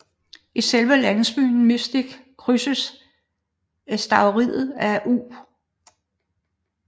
I selve landsbyen Mystic krydses æstuariet af U